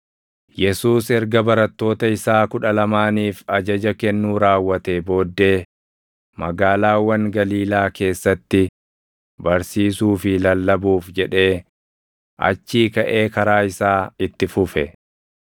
Yesuus erga barattoota isaa kudha lamaaniif ajaja kennuu raawwatee booddee magaalaawwan Galiilaa keessatti barsiisuu fi lallabuuf jedhee achii kaʼee karaa isaa itti fufe.